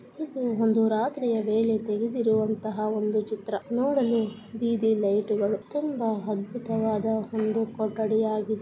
ಇದು ಒಂದು ರಾತ್ರಿಯ ವೇಳೆ ತೆಗೆದಿರುವಂತಹ ಒಂದು ಚಿತ್ರ ನೋಡಲು ಬೀದಿ ಲೈಟುಗಳು ತುಂಬಾ ಅದ್ಭುತವಾದ ಒಂದು ಕೊಠಡಿಯಾಗಿದೆ.